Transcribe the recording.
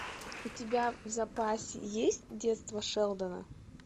у тебя в запасе есть детство шелдона